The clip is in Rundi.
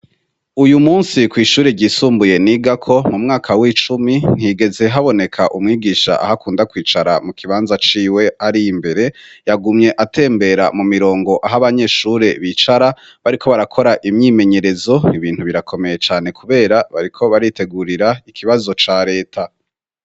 Uyu musi kw'ishure ryisumbuye nigako mu mwaka w'icumi ntigeze haboneka umwigisha aho akunda kwicara mu kibanza ciwe ari imbere yagumye atembera mu mirongo aho abanyeshure bicara bariko barakora imyimenyerezo ibintu birakomeye cane, kubera bariko baritegurira ikibazo ca leta.